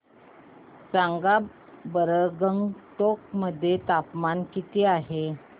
सांगा बरं गंगटोक मध्ये तापमान किती आहे